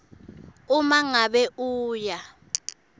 uma ngabe uya